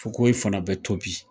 Fokohoye fana bɛ to bi.